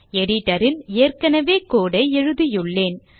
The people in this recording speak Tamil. எடிட்டர் ல் ஏற்கனவே கோடு ஐ எழுதியுள்ளேன்